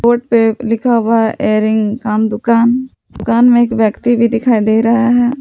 Foot पे लिखा हुआ इयरिंग कान दुकान दुकान में एक व्यक्ति भी दिखाई दे रहा है।